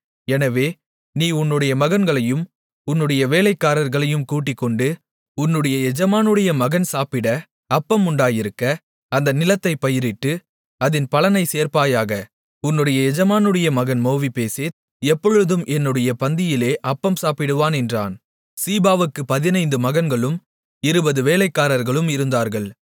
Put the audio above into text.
எனவே நீ உன்னுடைய மகன்களையும் உன்னுடைய வேலைக்காரர்களையும் கூட்டிக்கொண்டு உன்னுடைய எஜமானுடைய மகன் சாப்பிட அப்பம் உண்டாயிருக்க அந்த நிலத்தைப் பயிரிட்டு அதின் பலனைச் சேர்ப்பாயாக உன்னுடைய எஜமானுடைய மகன் மேவிபோசேத் எப்பொழுதும் என்னுடைய பந்தியிலே அப்பம் சாப்பிடுவான் என்றான் சீபாவுக்கு பதினைந்து மகன்களும் இருபது வேலைக்காரர்களும் இருந்தார்கள்